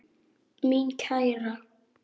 Mín kæra.